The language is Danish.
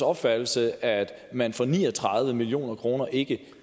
opfattelse at man for ni og tredive million kroner ikke